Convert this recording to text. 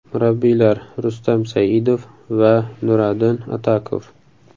Murabbiylar: Rustam Saidov va Nuradin Atakov.